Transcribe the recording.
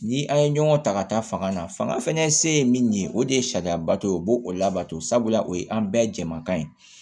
Ni an ye ɲɔgɔn ta ka taa fanga na fanga fɛnɛ se ye min ye o de ye sariyaba dɔ ye o b'o o labato sabula o ye an bɛɛ jɛman ye